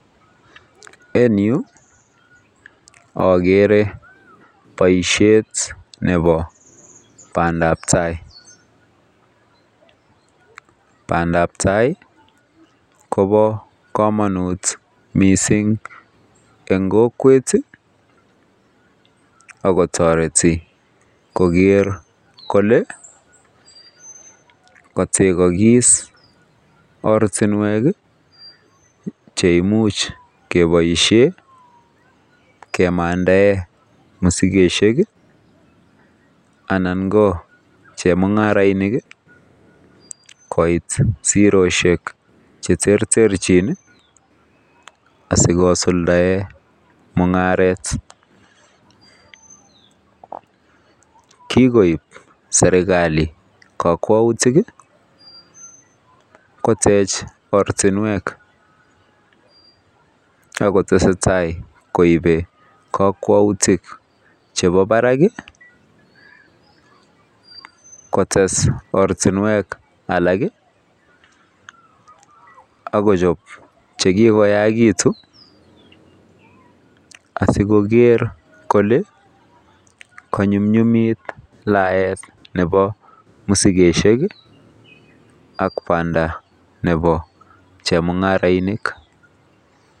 En yu akere boisiet nebo bandabtai bandabtai kobo kamanut mising eng kokwet akotoreti koker kole kategokis ortinwek cheimuch keboisie kemandae masikosiek anan chemungarainik koit sirosiek cheterterchin asikosukdae mungaret kikoib serikali kakwautik kotech ortinwek akotesetai koibe kakwautik chebo barak kotes ortinwek alak akochop chekikoyaakitu asikokeer kole kanyumnyumit laet nebo musikesiek ak banda xhebo chemungarainik.